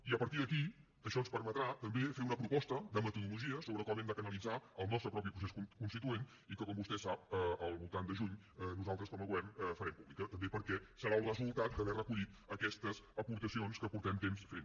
i a partir d’aquí això ens permetrà també fer una proposta de metodologies sobre com hem de canalitzar el nostre propi procés constituent que com vostè sap al voltant de juny nosaltres com a govern farem pública també perquè serà el resultat d’haver recollit aquestes aportacions que fa temps que fem